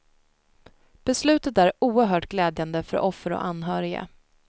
Beslutet är oerhört glädjande för offer och anhöriga.